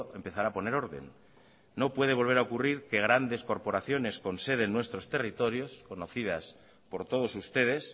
empezar a poner orden no puede volver a ocurrir que grandes corporaciones con sede en nuestros territorios conocidas por todos ustedes